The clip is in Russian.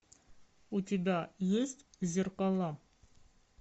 у тебя есть зеркала